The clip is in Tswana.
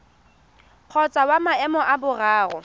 kgotsa wa maemo a boraro